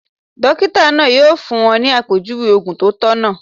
Dókítà náà yóò fún wọn ní àpèjúwe ògùn tó tọ̀nà